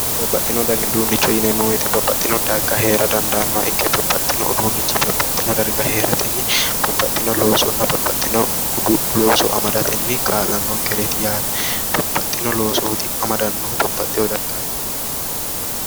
babbaxxino dani uduunneeti yineemmowoyite babbaxxino darga heera dandaannoha ikke babbaxxino uduunni babbaxxino darga heeratenni babbaxxino loosonna babbaxxino uduunne amadatenni babbaxxino loosooti amadannohu.